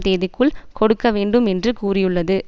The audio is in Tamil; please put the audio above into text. தேதிக்குள் கொடுக்க வேண்டும் என்று கூறியுள்ளது